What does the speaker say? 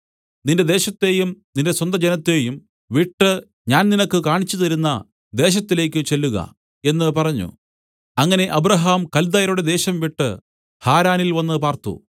നിന്റെ ദേശത്തെയും നിന്റെ സ്വന്ത ജനത്തേയും വിട്ട് ഞാൻ നിനക്ക് കാണിച്ചു തരുന്ന ദേശത്തിലേക്ക് ചെല്ലുക എന്ന് പറഞ്ഞു അങ്ങനെ അബ്രാഹാം കല്ദായരുടെ ദേശംവിട്ട് ഹാരാനിൽ വന്ന് പാർത്തു